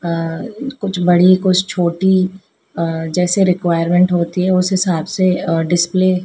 अ कुछ बड़ी कुछ छोटी अ जैसे रिक्वायरमेंट होती हैं उस हिसाब से अ डिस्पले --